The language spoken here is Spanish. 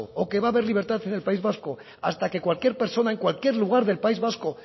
o que va a haber libertad en el país vasco hasta que cualquier persona en cualquier lugar del país vasco